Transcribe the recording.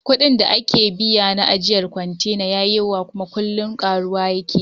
Kuɗin da ake biya na ajjiyar kwantena yayi yawa, kuma kullin karuwa yake